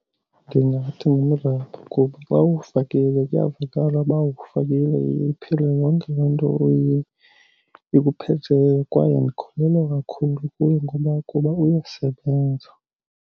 Ndingathi ngumrabho kuba xa uwufakile kuyavakala ba uwufakile, iye iphele yonke loo nto ikuphetheyo, kwaye ndikholelwa kakhulu kuye ngoba kuba uyasebenza.